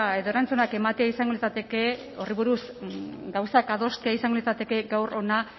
edo erantzunak ematea izango litzateke horri buruz gauzak adostea izango litzateke gaur hona